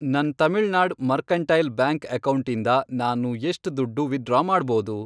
ನನ್ Tamil Nadu mercantile bank ಅಕೌಂಟಿಂದ ನಾನು ಎಷ್ಟ್ ದುಡ್ಡು ವಿತ್ಡ್ರಾ ಮಾಡ್ಬೋದು?